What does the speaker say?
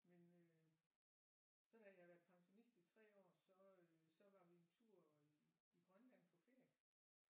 Men øh så da jeg havde været pensionist i 3 år så øh så var vi en tur i Grønland på ferie